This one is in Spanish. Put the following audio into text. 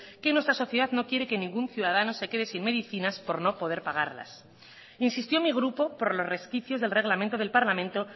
que nuestra sociedad no quiere que ningún ciudadano se quede sin medicinas por no poder pagarlas insistió mi grupo por los resquicios del reglamento del parlamento